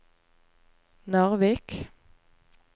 Narvik